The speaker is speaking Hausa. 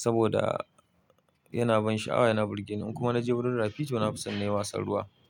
saboda yana ban sha'awa yana burge ni kuma na ji burin rafi to na fi son nayi wasan ruwa.